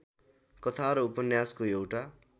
कथा र उपन्यासको एउटा